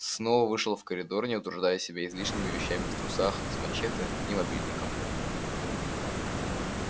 снова вышел в коридор не утруждая себя излишними вещами в трусах с мачете и мобильником